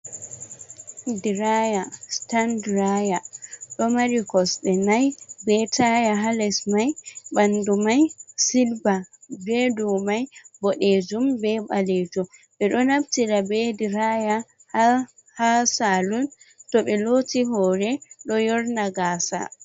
Diraya sitan diraya ɗo mari kosɗe nai be taya ha les mai ɓandu mai silba be dou mai boɗejum be ɓalejum ɓe ɗo naftira be diraya ha ha salun to ɓe loti hore ɗo yorna gaasa.